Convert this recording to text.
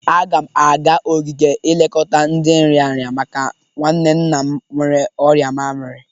Aga m aga ogige ilekọta ndị nrịanrị maka nwanne nna m nwere ọrịa mamiri.